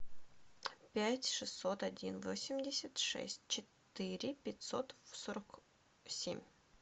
пять шестьсот один восемьдесят шесть четыре пятьсот сорок семь